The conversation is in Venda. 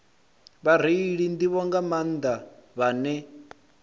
vhareili nḓivho nga maanḓa vhane